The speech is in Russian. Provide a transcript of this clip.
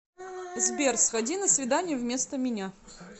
сбер сходи на свидание вместо меня